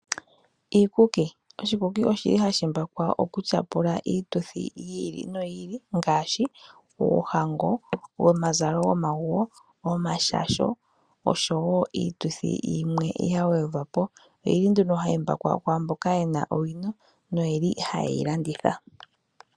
Iikuki. Oshikuki oshi li hashi mbakwa okutyapula iituthi yi ili noyi ili ngaashi oohango, omazalo gomaguwo, omashasho oshowo iituthi yimwe ya gwedhwapo. Oyili nduno hayi mbakwa kwaamboka yena owino noyeli haye yilanditha.